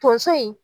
Tonso in